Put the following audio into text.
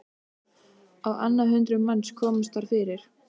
Á annað hundrað manns komust þar fyrir.